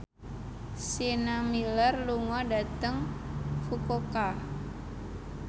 Sienna Miller lunga dhateng Fukuoka